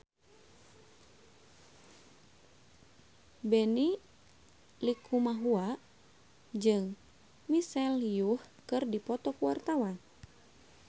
Benny Likumahua jeung Michelle Yeoh keur dipoto ku wartawan